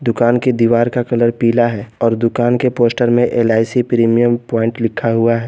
दुकान की दीवार का कलर पीला है और दुकान के पोस्टर में एल_आई_सी प्रीमियम प्वाइंट लिखा हुआ है।